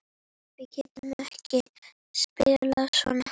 Við getum ekki spilað svona.